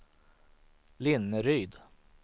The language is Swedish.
Linneryd